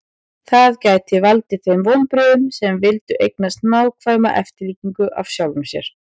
það gæti valdið þeim vonbrigðum sem vildu eignast nákvæma eftirlíkingu af sjálfum sér